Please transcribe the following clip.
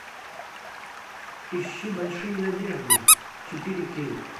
ищи большие надежды четыре кей